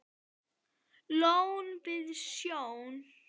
Lón við sjó.